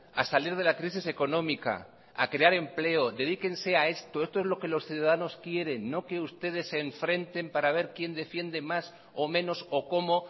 a salir de la crisis económica a crear empleo dedíquense a esto esto es lo que los ciudadanos quieren no que ustedes se enfrenten para ver quién defiende más o menos o cómo